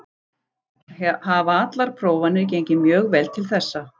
Hafa allar prófanir gengið mjög vel til þessa.